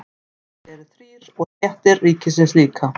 Hlutar sálarinnar eru þrír og stéttir ríkisins líka.